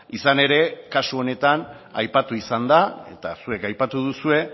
izan ere kasu honetan aipatu izan da eta zuek aipatu duzue